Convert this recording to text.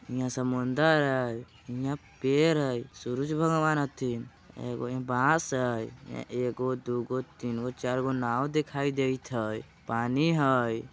हियाँ समुंदर हइ हियाँ पेड़ हइ सूरज भगवान हथिन एगो बास हइ हियाँ एगो दोगो तीनगो चारगो नाव दिखाइ दइत हइ पानी हइ।